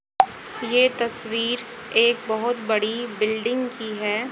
ये तस्वीर एक बहोत बड़ी बिल्डिंग की है।